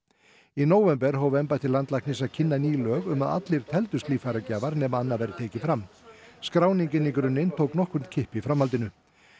í nóvember hóf embætti landlæknis að kynna ný lög um að allir teldust líffæragjafar nema annað væri tekið fram skráning inn í grunninn tók nokkurn kipp í framhaldinu